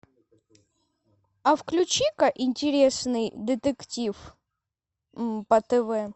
а включи ка интересный детектив по тв